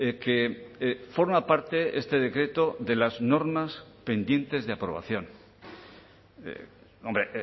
que forma parte este decreto de las normas pendientes de aprobación hombre